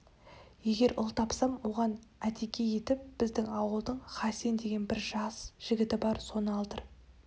егер ұл тапсам оған атеке етіп біздің ауылдың хасен деген бір жас жігіті бар соны алдыр